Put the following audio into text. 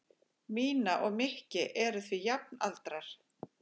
Mína og Mikki eru því jafnaldrar.